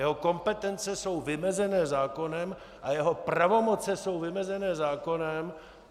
Jeho kompetence jsou vymezené zákonem a jeho pravomoci jsou vymezené zákonem.